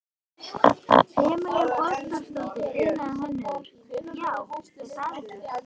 Emilía Borgþórsdóttir, iðnhönnuður: Já, er það ekki?